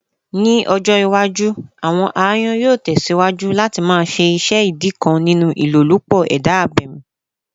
Ni ọjọ iwaju, awọn ayonyoo tẹsiwaju lati ṣe iṣẹ idi kan ninu ilolupo eda abemi